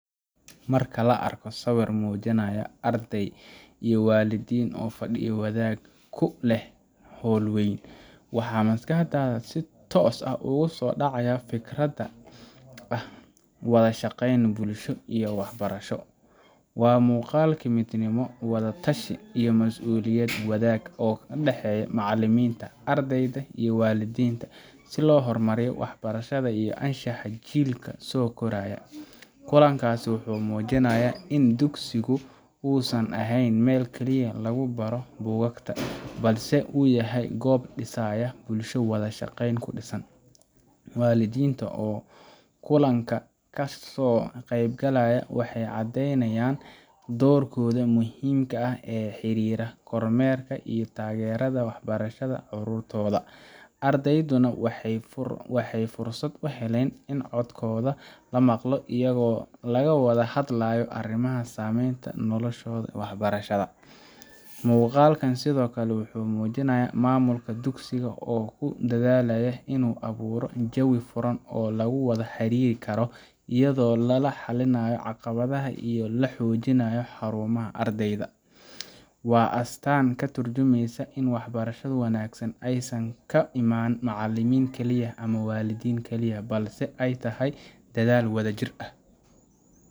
Marka la arko sawir muujinaya arday iyo waalidiin oo fadhiyo wadaag ah ku leh hool weyn, waxa maskaxda si toos ah ugu soo dhacaya fikradda ah wada shaqayn bulsho iyo waxbarasho. Waa muuqaalkii midnimo, wada-tashi, iyo mas’uuliyad wadaag ah oo u dhexeeya macallimiinta, ardayda, iyo waalidiinta si loo horumariyo waxbarashada iyo anshaxa jiilka soo koraya. Kulankaas wuxuu muujinayaa in dugsigu uusan ahayn meel kaliya oo lagu baro buugaagta, balse uu yahay goob dhisaysa bulsho wada shaqayn ku dhisan. Waalidiinta oo kulanka ka soo qaybgalay waxay caddeynayaan doorkooda muhiimka ah ee xiriira kormeerka iyo taageeridda waxbarashada carruurtooda. Ardayduna waxay fursad u helayaan in codkooda la maqlo, iyadoo laga wada hadlayo arrimaha saameeya noloshooda waxbarasho. Muuqaalkani sidoo kale wuxuu muujinayaa maamulka dugsiga oo ku dadaalaya inuu abuuro jawi furan oo lagu wada xiriiri karo, iyadoo la xallinayo caqabadaha iyo la xoojinayo horumarka ardayda. Waa astaan ka tarjumeysa in waxbarashada wanaagsan aysan ka iman macallin kaliya ama waalid kaliya, balse ay tahay dadaal wadajir ah.